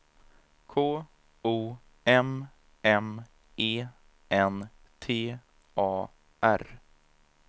K O M M E N T A R